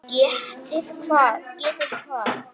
Getið hvað?